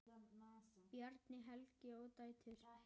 Bjarni, Helga og dætur.